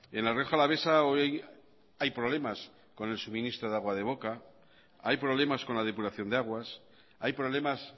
en la rioja alavesa hoy hay problemas con el suministro de agua de boca hay problemas con la depuración de aguas hay problemas